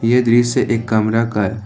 ये दृश्य एक कमरा का है।